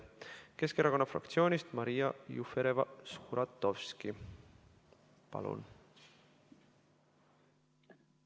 Keskerakonna fraktsioonist Maria Jufereva-Skuratovski, palun!